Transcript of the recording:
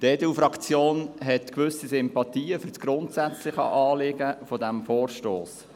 Die EDU-Fraktion hat gewisse Sympathien für das grundsätzliche Anliegen dieses Vorstosses.